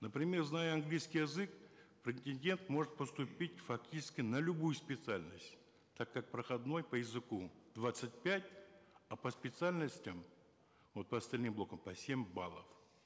например зная английский язык претендент может поступить фактически на любую специальность так как проходной по языку двадцать пять а по специальностям вот по остальным блокам по семь баллов